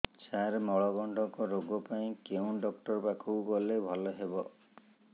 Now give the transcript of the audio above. ସାର ମଳକଣ୍ଟକ ରୋଗ ପାଇଁ କେଉଁ ଡକ୍ଟର ପାଖକୁ ଗଲେ ଭଲ ହେବ